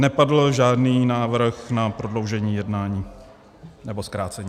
Nepadl žádný návrh na prodloužení jednání nebo zkrácení.